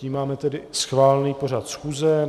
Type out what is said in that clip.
Tím máme tedy schválený pořad schůze.